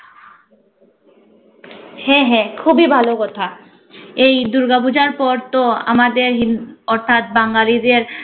হ্যা, হ্যা খুবই ভালো কথা। এই দুর্গাপূজার পর তো আমাদের হিন্দ~ অর্থাৎ বাঙালিদের